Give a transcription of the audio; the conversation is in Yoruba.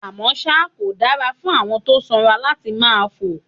Àmọ́ ṣá, kò dára fún àwọn tó sanra láti máa fò